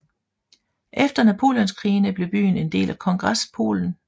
Efter Napoleonskrigene blev byen en del af Kongrespolen